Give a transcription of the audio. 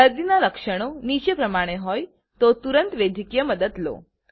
દર્દીના લક્ષણો નીચે પ્રમાણે હોય તો તુરંત વૈદ્યકીય મદદ લો